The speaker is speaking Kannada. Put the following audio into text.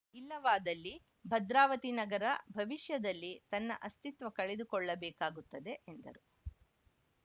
ಇಲ್ಲವಾದಲ್ಲಿ ಭದ್ರಾವತಿ ನಗರ ಭವಿಷ್ಯದಲ್ಲಿ ತನ್ನ ಅಸ್ತಿತ್ವ ಕಳೆದುಕೊಳ್ಳಬೇಕಾಗುತ್ತದೆ ಎಂದರು